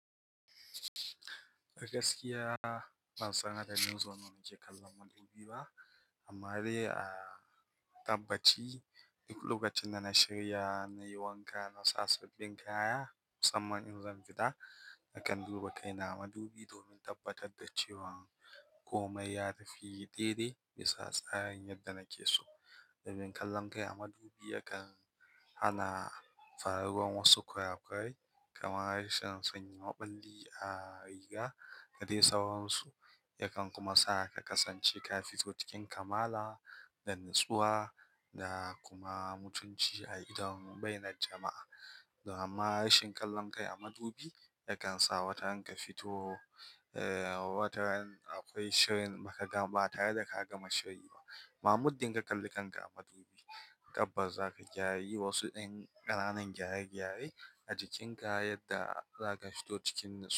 Gaskiya ban san adadin sau nawa na ke kallon madubi ba. Amma dai a tabbaci, duk lokacin da na shirya nayi wanka, na sa sabbin kaya musamman in zan fita, nakan duba kaina a madubi domin tabbatar da cewa komai ya tafi dede bisa tsarin yadda nake so. Dabin kallon kai a madubi yakan hana faruwan wasu kura kurai kamar harshen sanya maɓalli a riga ka dai sauransu. Yakan kuma sa ka kasance ka fito cikin kamala da natsuwa da kuma mutunci a idon bainar jama'a. Amma rashen kallon kai a madubi yakan sa wataran ka fito, eh, wataran akwai shirin baka ga ba tare da ka gama shiri ba. Ma muddin ka kalli kanka a madubi, tabbas za ka gyara, yi wasu ɗan ƙanan gyare-gyare a jikinka yadda za ka fito cikin natsuwa.